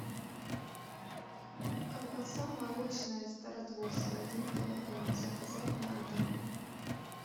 колбаса молочная стародворская один килограмм заказать на дом